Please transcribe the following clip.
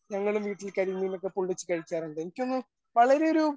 ഞങ്ങള് വീട്ടിൽ കരിമീനൊക്കെ പൊള്ളിച്ച് കഴിക്കാറുണ്ട്. എനിക്ക് തോന്നുന്നു വളരെ ഒരു